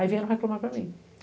Aí vieram reclamar para mim.